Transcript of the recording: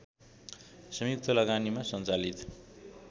संयुक्त लगानीमा सञ्चालित